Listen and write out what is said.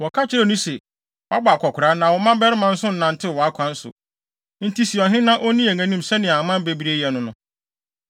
Wɔka kyerɛɛ no se, “Woabɔ akwakoraa, na wo mmabarima nso nnantew wʼakwan so; enti si ɔhene na onni yɛn anim sɛnea aman bebree yɛ no no.”